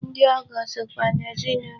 Ndị ọgọ sokwa n'ezinụlọ.